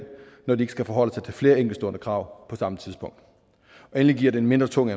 når de ikke skal forholde sig til flere enkeltstående krav på samme tidspunkt endelig giver det en mindre tung